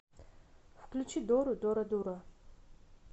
включи дору дорадура